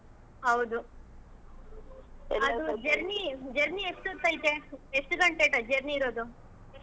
ಹೌದು ಅದು journey journey ಎಷ್ಟೋತ್ತ ಐತೆ ಎಷ್ಟ ಗಂಟೆ journey ಇರೋದು?